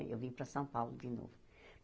Aí eu vim para São Paulo de novo.